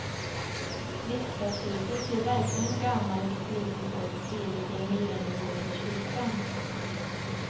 Riksdagshuset ser verkligen gammalt och slitet ut bredvid den nyrenoverade kyrkan.